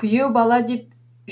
күйеу бала деп